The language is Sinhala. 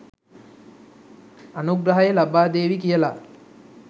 අනුග්‍රහය ලබාදේවි කියලා.